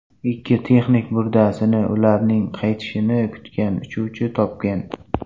Ikki texnik murdasini ularning qaytishini kutgan uchuvchi topgan.